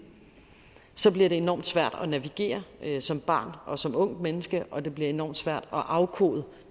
bliver det enormt svært at navigere som barn og som ungt menneske og det bliver enormt svært at afkode